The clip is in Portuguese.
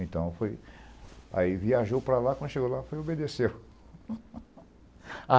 Então foi... Aí viajou para lá, quando chegou lá, foi e obedeceu.